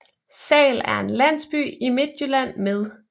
Sahl er en landsby i Midtjylland med